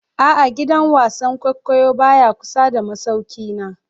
A'a, gidan wasan kwaikwayo baya kusa da masaukina